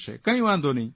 કંઇ વાંધો નહીં